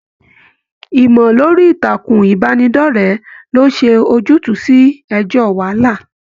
ìmọ lórí ìtàkùn ìbánidọ̀rẹ̀ lè ṣe ojutu sí ẹjọ wàhálà.